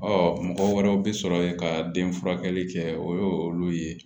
Ɔ mɔgɔ wɛrɛw bi sɔrɔ yen ka den furakɛli kɛ o ye olu ye